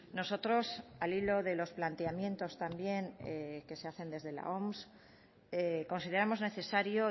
nosotros al hilo de los planteamientos también que se hacen desde la oms consideramos necesario